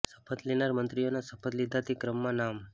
શપથ લેનારા મંત્રીઓના શપથ લીધા તે ક્ર્મમાં નામ